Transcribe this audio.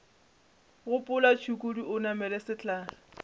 gopola tšhukudu o namele sehlare